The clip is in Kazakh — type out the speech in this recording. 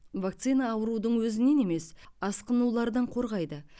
вакцина аурудың өзінен емес асқынулардан қорғайды